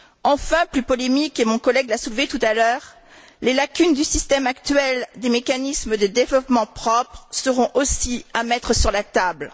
Enfin, plus polémiques et mon collègue l'a soulevé tout à l'heure les lacunes du système actuel des mécanismes de développement propres seront aussi à mettre sur la table.